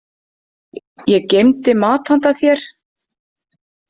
Ég geymdi mat handa þér.